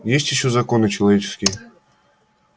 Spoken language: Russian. есть ещё законы человеческие